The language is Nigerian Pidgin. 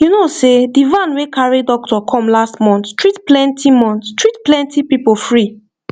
you know sey the van wey carry doctor come last month treat plenty month treat plenty people free